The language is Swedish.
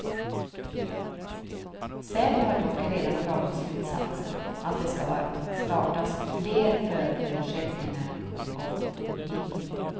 Säpo har dock redan dragit slutsatsen att det ska startas fler förundersökningar om uppvigling.